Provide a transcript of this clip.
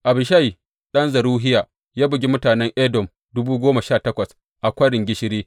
Abishai ɗan Zeruhiya ya bugi mutanen Edom dubu goma sha takwas a Kwarin Gishiri.